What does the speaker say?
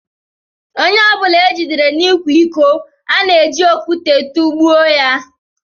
Ónyé ọbula ejidere n'ikwa ịkọ, ana eji okwute tugbuo ya